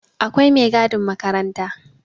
Akwai megadin makaranta